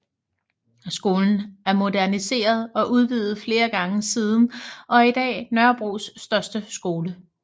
Skolen er moderniseret og udvidet flere gange siden og er i dag Nørrebros største skole